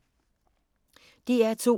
DR2